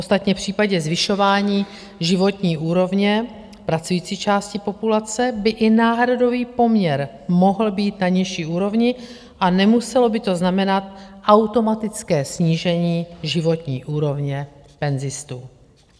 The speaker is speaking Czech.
Ostatně v případě zvyšování životní úrovně pracující části populace by i náhradový poměr mohl být na nižší úrovni a nemuselo by to znamenat automatické snížení životní úrovně penzistů.